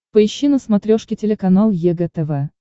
поищи на смотрешке телеканал егэ тв